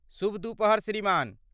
शुभ दूपहर श्रीमान !